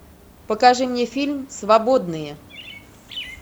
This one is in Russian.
покажи мне фильм свободные